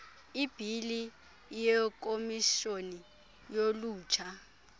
ibhili yekomishoni yolutsha